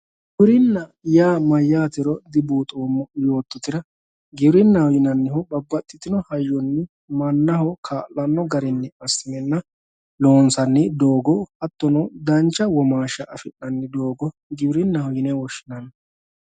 giwirinnaho yaa mayyaate dibuuxoommo yoottotera giwirinnaho yinannihu babbaxxitino hayyonni mannaho kaa'lanno garinni assinenna loonsanni doogo hattono dancha womaashsha afi'nanni doogo giwirinnaho yine woshshinanni.